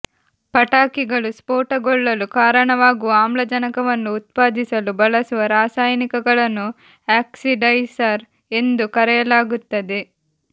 ಪಟಾಕಿಗಳು ಸ್ಫೋಟಗೊಳ್ಳಲು ಕಾರಣವಾಗುವ ಆಮ್ಲಜನಕವನ್ನು ಉತ್ಪಾದಿಸಲು ಬಳಸುವ ರಸಾಯನಿಕಗಳನ್ನು ಆಕ್ಸಿಡೈಸರ್ ಎಂದು ಕರೆಯಲಾಗುತ್ತದೆ